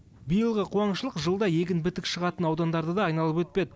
биылғы қуаңшылық жылда егін бітік шығатын аудандарды да айналып өтпеді